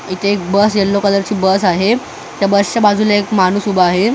इथे एक bus yellow कलरची बस आहे त्या बसच्या बाजूला एक माणूस उभा आहे त्या बस --